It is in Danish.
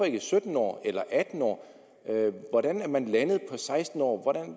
ikke sytten år eller atten år hvordan er man landet på seksten år